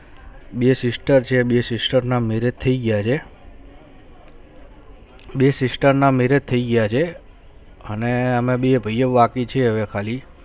બે sister છે બે sister ના marriage થયી ગયા છે બે sister ના marriage થયી ગયા છે અને અમે બે ભૈયો બાકી છે હવે ખાલી